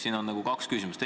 Siin on kaks küsimust.